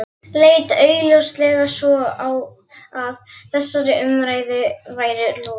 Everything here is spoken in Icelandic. Leit augljóslega svo á að þessari umræðu væri lokið.